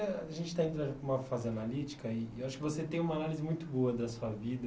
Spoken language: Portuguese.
A gente está entrando para uma fase analítica e eu acho que você tem uma análise muito boa da sua vida.